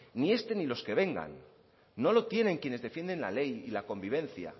ni este ni los que vengan no lo tienen quienes defienden la ley y la convivencia